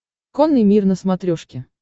конный мир на смотрешке